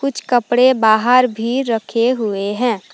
कुछ कपड़े बाहर भी रखे हुए हैं।